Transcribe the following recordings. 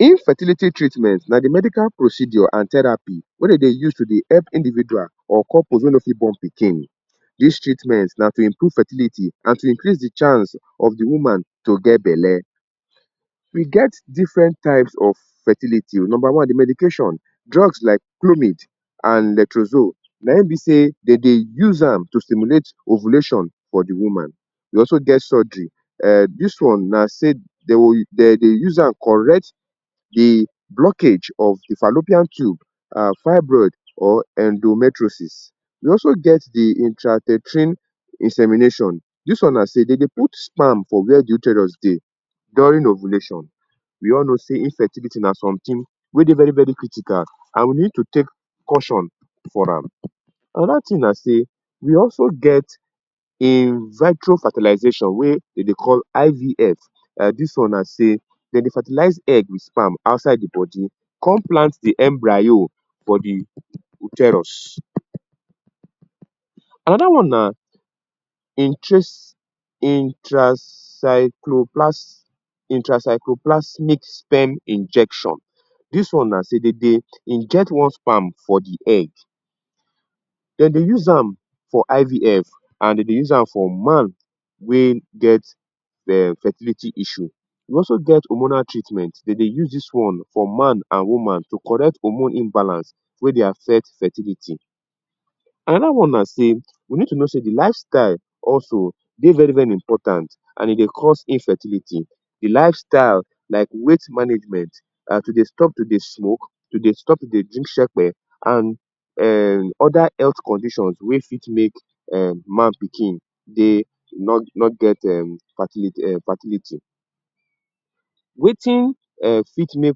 Infertility treatment na de medical procedure and therapy wey dem dey use to dey help individual or couples wey no fit born pikin. Dis treatment na to improve fertility and to increase de chance of de woman to get belle. E get different type of fertility o. Number one; de medication. Drugs like clomid and netrozole naim be sey de dey use am to stimulate ovulation for de woman. E also get surgery. um Dis one na sey de de dey use am correct de blockage of de fallopian tube and fibroid or endometriosis. E also get de intrauterine insemination. Dis one na sey de dey put sperm for where the uterus dey during ovulation. We all know sey infertility na something wey dey very-very critical and we need to take caution for am. Another thing na sey, we also get In vitro fertilization wey de dey call IVF. um Dis one na sey de dey fertilize egg wit sperm outside de body, come plant de embryo for de uterus. Another one na intracycloplasmic sperm injection. Dis one na sey dem dey inject one sperm for de egg. De dey use am for IVF and de dey use am for man wey get um fertility issue. We also get hormonal treatment. De dey use dis one for man and woman to correct hormone imbalance wey dey affect fertility. Another one na sey we need to know sey de lifestyle also dey very-very important and e dey cause infertility. De lifestyle like weight management, um to dey stop to dey smoke, to dey stop to dey drink shekpe and um other health condition wey fit make um man-pikin dey no no get um fertility um fertility. Wetin um fit make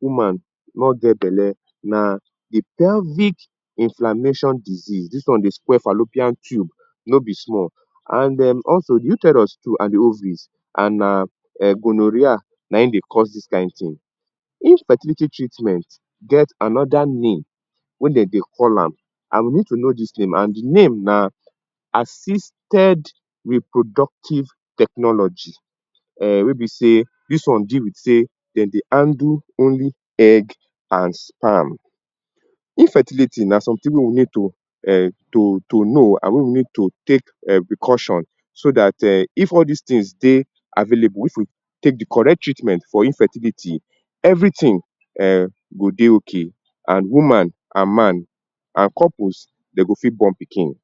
woman no get belle na de pelvic inflammation disease. Dis one dey spoil fallopian tube no be small and um also, uterus too and de ovaries. And na um gonorrhea naim dey cause dis kind thing. Infertility treatment get another name wey de dey call am. And we need to know dis name and de name na ‘Assisted Reproductive Technology’. um Wey be sey dis one deal with sey dem dey handle only egg and sperm. Infertility na something wey we need to um to to know and when we mean to take um precaution so dat um if all dis things dey available, if we take de correct treatment for infertility, everything um go dey okay. And woman and man, and couples dem go fit born pikin.